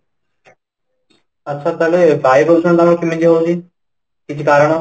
ଆଚ୍ଛା ତାହେଲେ ବାୟୁ ପ୍ରଦୂଷଣ ଟା ଆମର କେମିତି ହଉଛି ? କିଛି କାରଣ